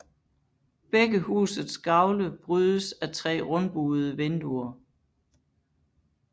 Begge husets gavle brydes af tre rundbuede vinduer